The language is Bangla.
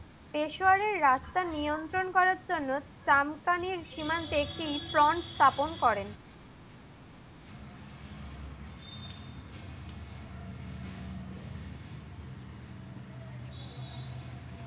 পেশুরের রাস্তা নিয়ন্ত্রণ করার জন্য ত্রামপানের সিমান্তের একটি ট্রান্স স্থাপন করেন।